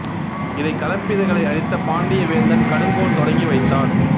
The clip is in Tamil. இதை களப்பிரர்களை அழித்த பாண்டிய வேந்தன் கடுங்கோன் தொடங்கி வைத்தான்